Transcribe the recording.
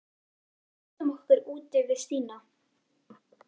Við læstum okkur úti við Stína.